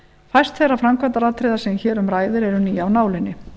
fæst þeirra framkvæmdaatriða sem hér um ræðir eru ný af nálinni